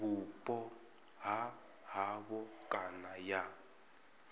vhupo ha havho kana ya